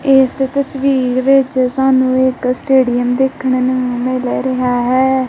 ਇੱਸ ਤਸਵੀਰ ਵਿੱਚ ਸਾਨੂੰ ਇੱਕ ਸਟੇਡੀਅਮ ਦੇਖਣ ਨੂੰ ਮਿਲ ਰਿਹਾ ਹੈ।